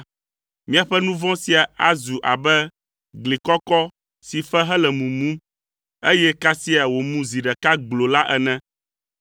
miaƒe nu vɔ̃ sia azu abe gli kɔkɔ si fe hele mumum, eye kasia wòmu zi ɖeka gbloo la ene.